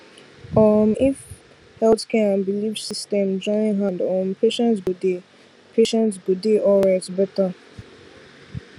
um if health care and belief system join hand um patients go dey patients go dey alright better